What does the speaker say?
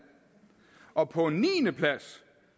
og på en niendeplads